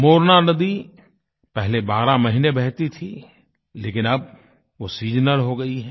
मोरना नदी पहले बारह महीने बहती थी लेकिन अब वो सीजनल हो गई है